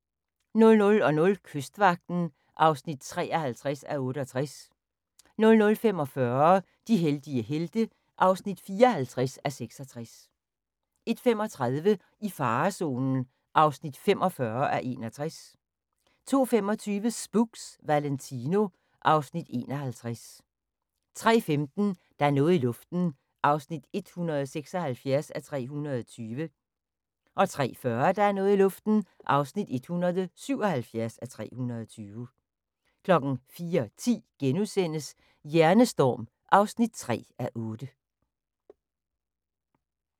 00:00: Kystvagten (53:68) 00:45: De heldige helte (54:66) 01:35: I farezonen (45:61) 02:25: Spooks: Valentino (Afs. 51) 03:15: Der er noget i luften (176:320) 03:40: Der er noget i luften (177:320) 04:10: Hjernestorm (3:8)*